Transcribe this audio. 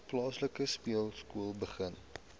plaaslike speelskool begin